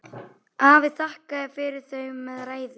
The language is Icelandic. Afi þakkaði fyrir þau með ræðu.